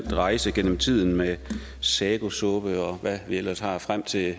rejse igennem tiden med sagosuppe og hvad vi ellers har frem til